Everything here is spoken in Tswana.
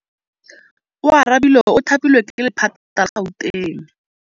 Oarabile o thapilwe ke lephata la Gauteng.